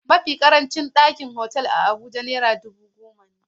Mafi ƙarancin farashin ɗakin otal a Abuja naira dubu goma.